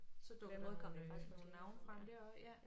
På den måde kom der jo faktisk også nogle navne frem der også ja